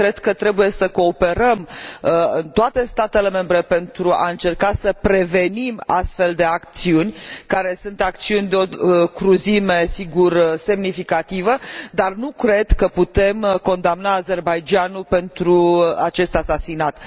Cred că trebuie să cooperăm, toate statele membre, pentru a încerca să prevenim astfel de acțiuni, care sunt acțiuni de o cruzime, sigur, semnificativă, dar nu cred că putem condamna Azerbaidjanul pentru acest asasinat.